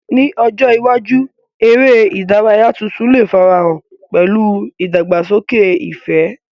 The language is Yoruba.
Ní ọjọ́ iwájú, eré ìdárayá tuntun lè farahàn pẹ̀lú ìdàgbàsókè ìfẹ́.